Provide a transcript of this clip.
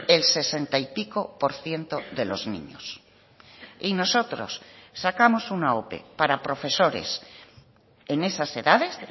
el sesenta y pico por ciento de los niños y nosotros sacamos una ope para profesores en esas edades